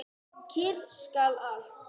Kyrrt skal allt.